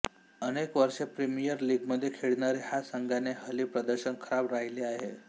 अनेक वर्षे प्रीमियर लीगमध्ये खेळणाऱ्या ह्या संघाचे हल्ली प्रदर्शन खराब राहिले आहे